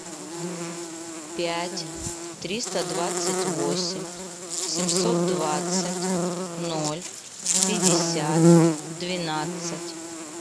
пять триста двадцать восемь семьсот двадцать ноль пятьдесят двенадцать